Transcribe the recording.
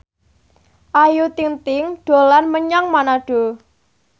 Ayu Ting ting dolan menyang Manado